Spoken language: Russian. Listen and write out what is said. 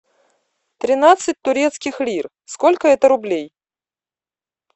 тринадцать турецких лир сколько это рублей